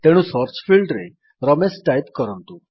ତେଣୁ ସର୍ଚ୍ଚ ଫିଲ୍ଡରେ ରମେଶ ଟାଇପ୍ କରନ୍ତୁ